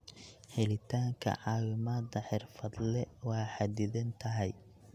Helitaanka caawimada xirfadle waa xadidan tahay.